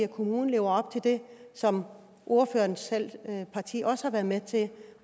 kommunerne lever op til det som ordførerens eget parti også har været med til